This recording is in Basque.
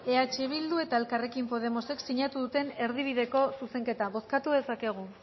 eh bildu eta elkarrekin podemosek sinatu duten erdibideko zuzenketa bozkatu dezakegu